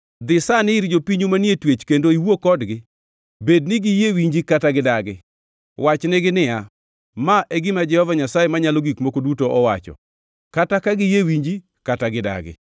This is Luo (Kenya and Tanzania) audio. Dhi sani ir jopinyu manie twech kendo iwuo kodgi, bed ni giyie winji kata gidagi. Wach nigi niya, “Ma e gima Jehova Nyasaye Manyalo Gik Moko Duto owacho, kata giyie winji kata gidagi.”